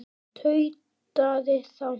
tautaði þá